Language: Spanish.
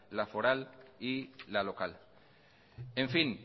la foral y la local en fin